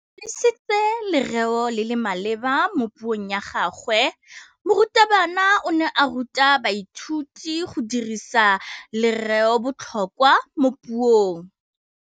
O dirisitse lerêo le le maleba mo puông ya gagwe. Morutabana o ne a ruta baithuti go dirisa lêrêôbotlhôkwa mo puong.